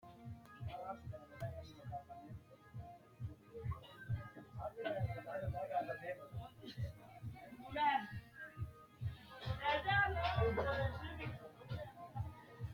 Quchumu xure ishinawe foole gane ba"anokki gede mootimma jawa injo kalaqanni no base basetenni tini xa ollu baalunni hanse gamba assine hunara mite base haa'ne ha'nanni hee'noonni ishineti.